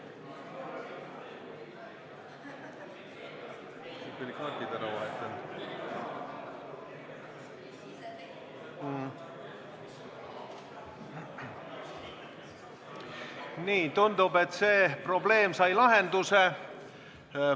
Nii, tundub, et see probleem sai lahenduse.